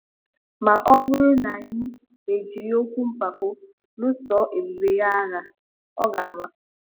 Ma ọ bụrụ na anyị ejiri okwu mpako luso ebube ya agha, ọ ga-ama.